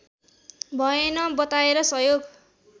भएन बताएर सहयोग